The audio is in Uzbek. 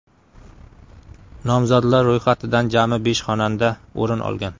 Nomzodlar ro‘yxatidan jami besh xonanda o‘rin olgan.